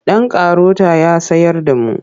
Ɗan karota ya tsayar da mu.